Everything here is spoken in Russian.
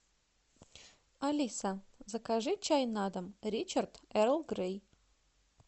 алиса закажи чай на дом ричард эрл грей